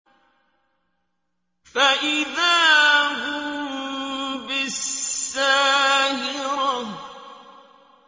فَإِذَا هُم بِالسَّاهِرَةِ